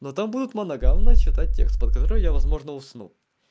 но там будут моногамно читать текст под который я возможно усну